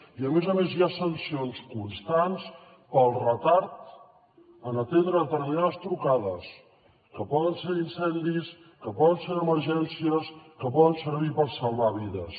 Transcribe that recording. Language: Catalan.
i a més a més hi ha sancions constants pel retard en atendre determinades trucades que poden ser d’incendis que poden ser d’emergències que poden servir per salvar vides